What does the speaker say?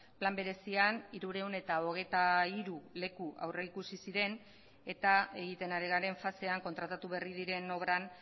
plan berezian hirurehun eta hogeita hiru leku aurrikusi ziren eta egiten ari garen fasean kontratatu berri diren obran